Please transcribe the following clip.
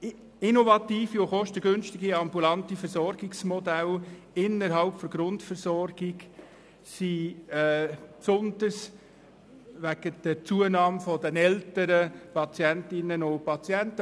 Innovative und kostengünstige ambulante Versorgungsmodelle innerhalb der Grundversorgung sind besonders wegen der Zunahme der älteren Patientinnen und Patienten ein Thema.